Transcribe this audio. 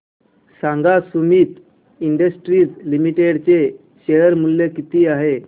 सांगा Sumeet industries limited चे share मूल्य किती आहे